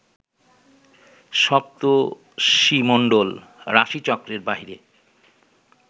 সপ্তর্ষিমণ্ডল রাশিচক্রের বাহিরে